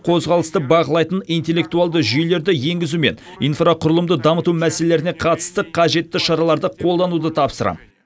қозғалысты бақылайтын интеллектуалды жүйелерді енгізу мен инфрақұрылымды дамыту мәселелеріне қатысты қажетті шараларды қолдануды тапсырамын